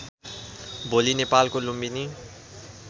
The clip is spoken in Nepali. भोलि नेपालको लुम्बिनी